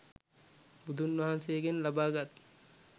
බුදුන් වහන්සේගෙන් ලබාගත්